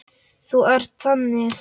Þú ert þannig.